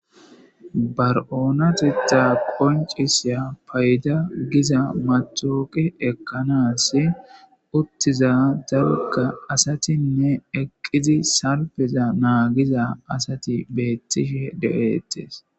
bar7oonatitta qoncisya payda giza maxooqe ekkanaas uttiza zaluka asatinne eqqizi salpeza naagiza asati beettishe de7eettes